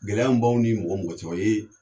Gɛlɛya min baw ni mɔgɔ mɔgɔ cɛ o ye